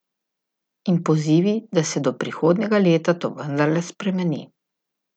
In pozivi, da se do prihodnjega leta to vendarle spremeni.